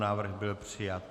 Návrh byl přijat.